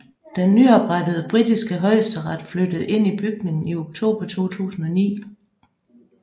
Den nyoprettede britiske højesteret flyttede ind i bygningen i oktober 2009